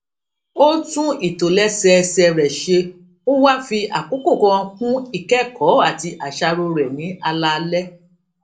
ó tún ìtòlésẹẹsẹ rè ṣe ó wá fi àkókò kan kún ìkékòó àti àṣàrò rè ní alaalé